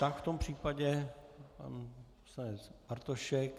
Tak v tom případě pan poslanec Bartošek.